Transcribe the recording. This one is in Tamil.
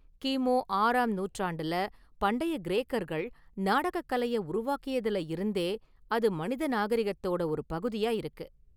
கிமு ஆறாம் நூற்றாண்டுல பண்டைய​ கிரேக்கர்கள் நாடகக் கலையை உருவாக்கியதுல இருந்தே அது மனித நாகரிகத்தோட ஒரு பகுதியா இருக்கு.